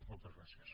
moltes gràcies